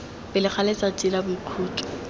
pele ga letsatsi la boikhutso